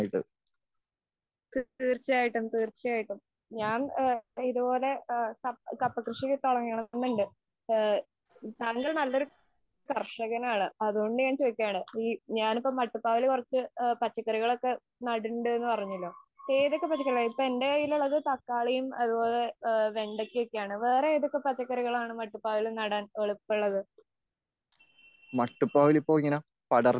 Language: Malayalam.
തീർച്ചയായിട്ടും തീർച്ചയായിട്ടും, ഞാൻ ഇതുപോലെ കപ്പ കൃഷിയൊക്കെ തുടങ്ങണംന്നുണ്ട് താങ്കൾ നല്ലൊരു കർഷകനാണ് അതുകൊണ്ടു ഞാൻ ചോദിക്കുകയാണ് ഞാനിപ്പോൾ മട്ടുപ്പാവിൽ കുറച്ചു പച്ചക്കറികൾ ഒക്കെ നടുന്നുണ്ട് പറഞ്ഞല്ലോ, ഏതൊക്കെ പച്ചക്കറികൾ ഇപ്പൊ എന്റെ കയ്യിൽ ഉള്ളത് തക്കാളിയും അതുപോലെ വെണ്ടക്ക ഒക്കെയാണ് വേറെ ഏതൊക്കെ പച്ചക്കറികൾ ആണ് മട്ടുപ്പാവിൽ നടാൻ എളുപ്പമുള്ളതു?